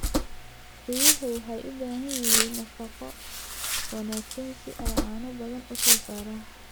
Riyuhu waxay u baahan yihiin nafaqo wanaagsan si ay caano badan u soo saaraan.